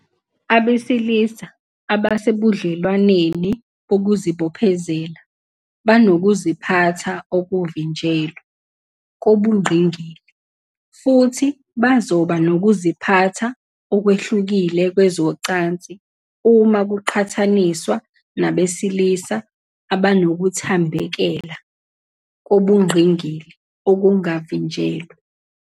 Abesilisa abasebudlelwaneni bokuzibophezela banokuziphatha okuvinjelwe kobungqingili, futhi bazoba nokuziphatha okwehlukile kwezocansi uma kuqhathaniswa nabesilisa abanokuthambekela kobungqingili okungavinjelwe.